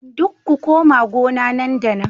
Dukku ku koma gona nan da nan